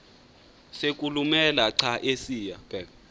sokulumela xa esiya